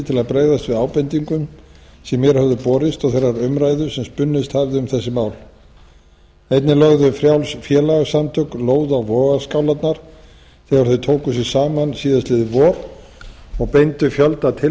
til að bregðast við ábendingum sem mér höfðu borist og þeirrar umræðu sem spunnist hafði um þessi mál einnig lögðu frjáls félagasamtök lóð á vogarskálarnar þegar þau tóku sig saman síðastliðið vor og beindu fjölda